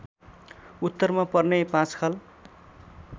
उत्तरमा पर्ने पाँचखाल